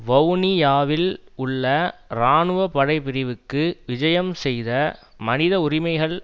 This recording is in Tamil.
வவுனியாவில் உள்ள இராணுவ படை பிரிவுக்கு விஜயம் செய்த மனித உரிமைகள்